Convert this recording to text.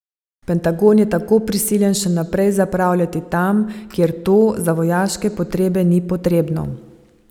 Pentagon je tako prisiljen še naprej zapravljati tam, kjer to za vojaške potrebe ni potrebno.